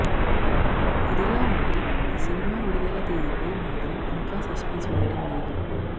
ఇదిలా ఉంటే ఈ సినిమా విడుదల తేదీపై మాత్రం ఇంకా సస్పెన్స్ వీడటం లేదు